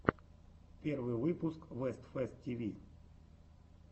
первый выпуск вест фест ти ви